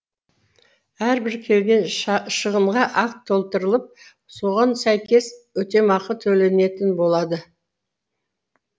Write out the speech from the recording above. әрбір келген шығынға акт толтырылып соған сәйкес өтемақы төленетін болады